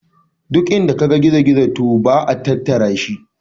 Duk inda kaga gizo gizo to ba a tatarashi.